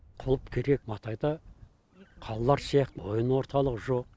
клуб керек матайда қалалар сияқты ойын орталығы жоқ